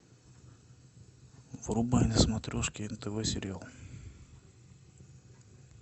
врубай на смотрешке нтв сериал